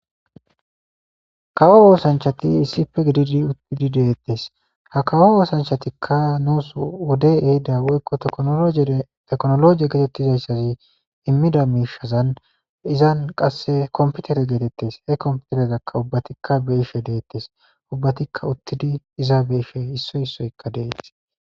Kawo oosanchati issife gididi uttidi deettes ha kawo oosanchatikka nuus wode ehida woykko teknologiya getettizayssazi immida miishazan izan qasse komputere geetettes he komputerezakka ubbatikka beishe deettes ubbatikka uttidi iza be ishe issoy issoykka dees.